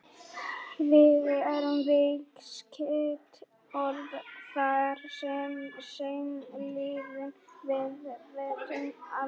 Fiðrildi er viðskeytt orð, þar sem seinni liðurinn er viðskeytið-ildi.